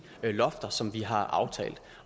lofter som vi har aftalt